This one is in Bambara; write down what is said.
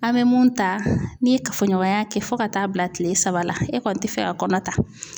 An mɛ mun ta n'i ye kafoɲɔgɔnya kɛ fo ka taa bila tile saba la, e kɔni tɛ fɛ a kɔnɔ ta